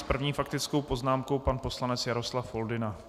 S první faktickou poznámkou pan poslanec Jaroslav Foldyna.